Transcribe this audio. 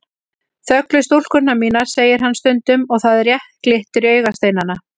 Þöglu stúlkurnar mínar, segir hann stundum og það rétt glittir í augasteinana.